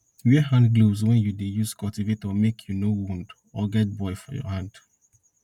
wear hand gloves wen you dey use cultivator make you no wound or get boil for your hand